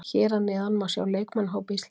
Hér að neðan má sjá leikmannahóp Íslands.